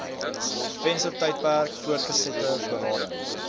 venstertydperk voortgesette berading